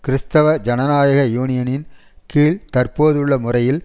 கிறிஸ்தவ ஜனநாயக யூனியனின் கீழ் தற்போதுள்ள முறையில்